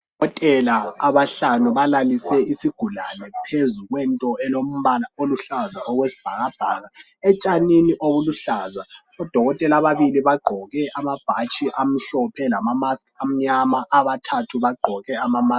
Abadokotela abahlanu balalise isigula phezu kwento elombala omhlaza owesibhakabhaka etshanini okuluhlaza odokotela ababili bagqoke amabhatshi amhlophe lamamaski anyama abathathu bagqoke amamaski